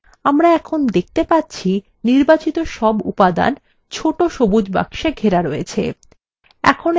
আমরা এখন দেখতে পাচ্ছি সব উপাদান ছোট সবুজ বাক্সে ঘেরা রয়েছে